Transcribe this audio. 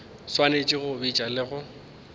swanetše go bitša le go